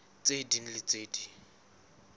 tse ding le tse ding